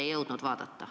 Ei jõudnud järele vaadata.